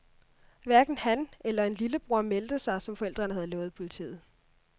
Hverken han eller en lillebror meldte sig, som forældrene havde lovet politiet.